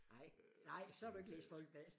Nej nej så har du ikke læst Folkebladet